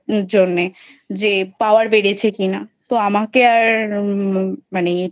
জন্যে যে Power বেড়েছে কিনা তো আমাকে আর মানে